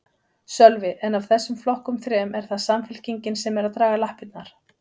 Sölvi: En af þessum flokkum þrem, er það Samfylkingin sem er að draga lappirnar?